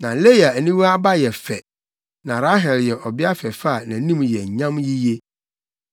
Na Lea aniwa aba yɛ fɛ, na Rahel yɛ ɔbea fɛfɛ a nʼanim yɛ nyam yiye.